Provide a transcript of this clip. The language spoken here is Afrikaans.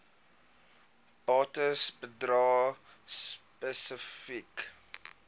bates bedrae spesifiek